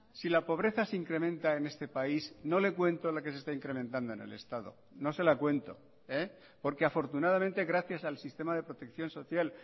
si la pobreza se incrementa en este país no le cuento la que se está incrementando en el estado no se la cuento porque afortunadamente gracias al sistema de protección social